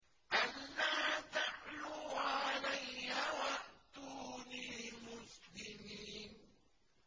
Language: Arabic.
أَلَّا تَعْلُوا عَلَيَّ وَأْتُونِي مُسْلِمِينَ